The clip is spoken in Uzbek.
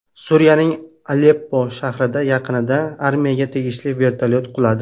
Suriyaning Aleppo shahri yaqinida hukumat armiyasiga tegishli vertolyot quladi.